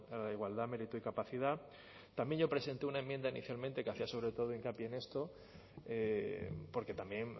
la igualdad mérito y capacidad también yo presenté una enmienda inicialmente que hacía sobre todo hincapié en esto porque también